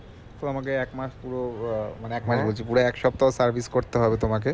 তোমাকে এক মাস পুরো আহ মানে এক মাস বলছি পুরো এক সপ্তাহ service করতে হবে তোমাকে